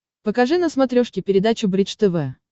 покажи на смотрешке передачу бридж тв